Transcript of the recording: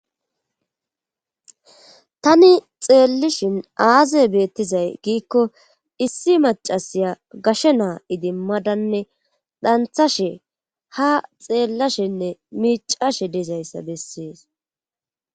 tani xeellishin aaze beettizay giikko issi macasiya gashe naa idimmadanne dhanthashe ha xeellashenne miicashe dizayssa bessees